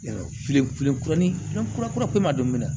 Filen filen kuruni kura kura don minɛ